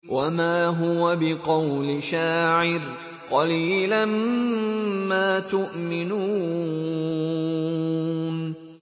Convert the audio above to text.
وَمَا هُوَ بِقَوْلِ شَاعِرٍ ۚ قَلِيلًا مَّا تُؤْمِنُونَ